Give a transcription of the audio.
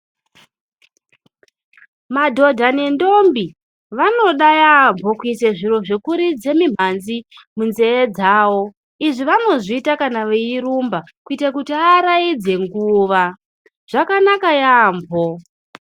Madhodha nendombi, vanoda yaampho kuise zviro zvekuridze mimhanzi, munzeye dzavo. Izvi vanozviita kana veirumba, kuite kuti aaraidze nguwa. Zvakanaka yaampho.